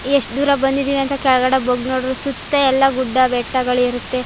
ಎಷ್ಟು ದೂರ ಬಂದಿದ್ದೀವಿ ಅಂತ ಕೆಳಗಡೆ ಬಗ್ಗಿ ನೋಡಿದ್ರೆ ಸುತ್ತ ಎಲ್ಲ ಗುಡ್ಡ ಬೆಟ್ಟಗಳಿರುತ್ತೆ.